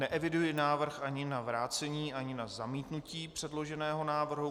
Neeviduji návrh ani na vrácení ani na zamítnutí předloženého návrhu.